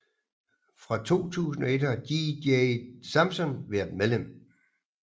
Fra 2001 har JD Samson været medlem